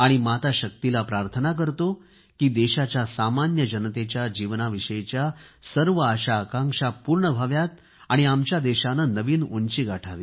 माता शक्तीला प्रार्थना करतो की देशाच्या सामान्य जनतेच्या जीवनाविषयीच्या सर्व आशाआकांक्षा पूर्ण व्हाव्यात आणि आमच्या देशाने नवीन उंची गाठावी